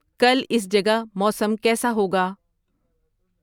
کل اس جگہ موسم کیسا ہوگا